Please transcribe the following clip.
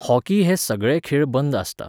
Hockey हे सगळे खेळ बंद आसता.